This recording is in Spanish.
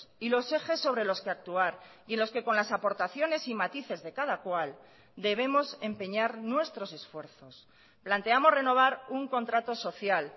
y los ejes sobre los que actuar y en los que con las aportaciones y matices de cada cual debemos empeñar nuestros esfuerzos planteamos renovar un contrato social